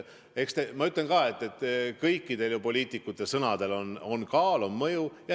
Ma ütlen ka, et kõikide poliitikute sõnadel on kaal, on mõju.